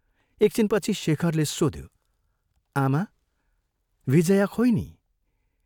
एकछिनपछि शेखरले सोध्यो, "आमा विजया खोइ नि?